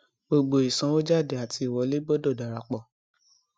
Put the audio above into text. gbogbo ìsanwójáde àti wọlé gbọdọ dára pọ